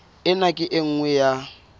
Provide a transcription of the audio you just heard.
ena ke e nngwe ya